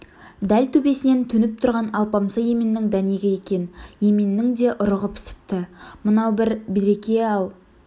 дәл төбесінен төніп тұрған алпамса еменнің дәнегі екен еменнің де ұрығы пісіпті мынау бір береке ал